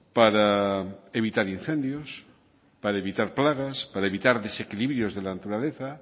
para evitar incendios para evitar plagas para evitar desequilibrios de la naturaleza